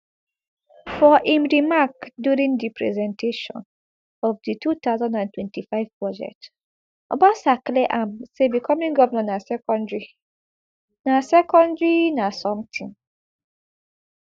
for im remark during di presentation of di two thousand and twenty-five budget obasa clear am say becoming govnor na secondary na secondary na something